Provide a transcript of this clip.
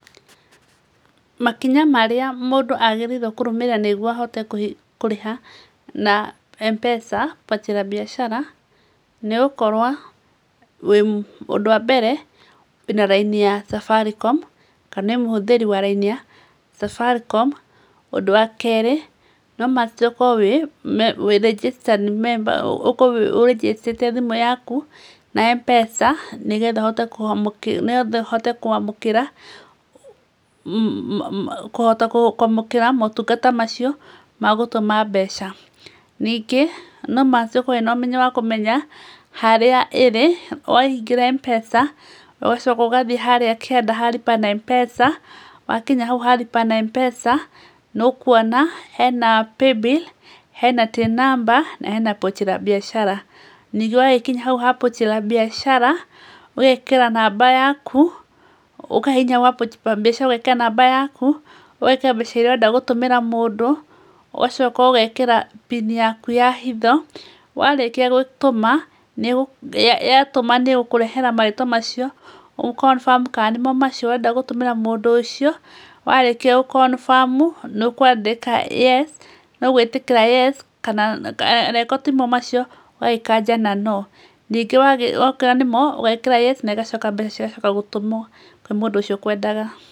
Makinya marĩa mũndũ agĩrĩirwo nĩ kũrũmĩrĩra nĩguo ahote kũrĩha na Mpesa Pochi La Biashara nĩgũkorwo, ũndũ wa mbere wĩna raini ya Safaricom kana wĩmũhũthĩri raini ya Safaricom, ũndũ wa kerĩ no must ũkorwo wĩ registered member ũkorwo ũrĩnjĩstĩte thimũ yaku na Mpesa nĩgetha ũhote kwamũkĩra, kũhota kwamũkĩra motungata macio ma gũtũma mbeca, ningĩ no must ũkorwo wĩna ũmenyo wa kũmenya harĩa ĩrĩ waingĩra Mpesa ũgacoka, ũgathiĩ harĩa kĩanda ha Lipa na Mpesa wakinya hau ha Lipa na Mpesa nĩ ũkwona, hena Pay bill, Till Number, na hena Pochi La Biashara, ningĩ wagĩkinya hau ha Pochi La Biashara ũgekĩra namba yaku, ũkahihinya kwa Pochi La Biashara ũgekĩra namba yaku, ũgekĩra mbeca iria ũrenda gũtũmĩra mũndũ, ũgacoka ũgekĩta pini yaku ya hitho, ya tũma nĩ gũkũrehera marĩtwa macio ũ confirm kana nĩmo macio ũrenda gũtũmĩra mũndũ ũcio warĩkia gũ confirm nĩ ũkwandĩka yes, nĩ ũgwĩtĩkĩra yes kana angĩkorwo timo macio ũgagĩkanja na no ningĩ wakorwo nĩ mo ũgekĩra yes nĩgacoka mbeca cigacoka gũtũmwo kwĩ mũndũ ũcio ũkwendaga.